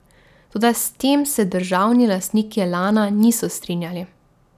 Toda s tem se državni lastniki Elana niso strinjali.